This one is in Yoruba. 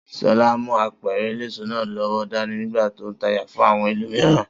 Solá mú apẹ̀rẹ̀ eléso náà lọ́wọ́ dání nígbà tó n tajà fun àwon ẹlòmíràn.